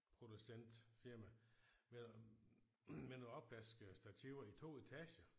Producent firma med med nogle opvaskestativer i 2 etager